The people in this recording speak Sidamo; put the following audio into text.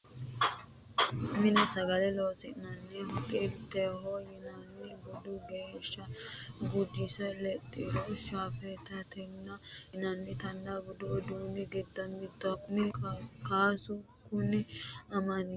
Mine sagale loosi'nanniho Xilteho yinanni boode geeshsha gujosi lexxiro Shafettate yinanni budu uduuni giddo mittoho kuni kasu kuni amande horonsi'nanniho.